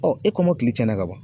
Ɔɔ e kɔmɔkili cɛnna ka ban